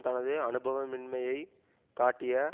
தனது அனுபவமின்மையைக் காட்டிய